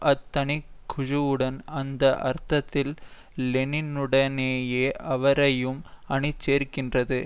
அத் தனி குழுவுடன் அந்த அர்த்தத்தில் லெனினுடனேயே அவரையும் அணிசேர்க்கின்றது